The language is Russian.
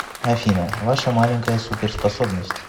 афина ваша маленькая суперспособность